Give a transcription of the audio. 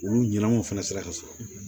Olu ɲinanaw fana sera ka sɔrɔ